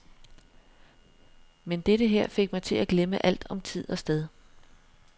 Men dette her fik mig til at glemme alt om tid og sted.